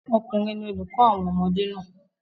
ọkùnrin ni olùkọ́ àwọn ọmọdé naa